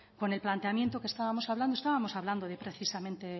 con el planteamiento que estábamos hablando estábamos hablando de precisamente